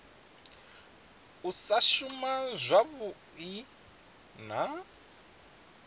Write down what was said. u sa shuma zwavhui na